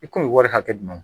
I kun bɛ wari hakɛ dun dun